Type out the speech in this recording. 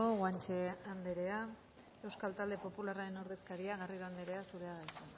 guanche andrea euskal talde popularraren ordezkaria garrido andrea zurea da hitza